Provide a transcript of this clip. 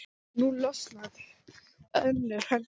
Nú losnaði önnur höndin.